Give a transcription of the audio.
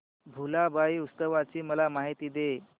भुलाबाई उत्सवाची मला माहिती दे